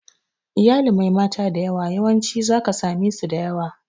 Iyalin mai mata da yawa, yawancin za ka same su da yawa.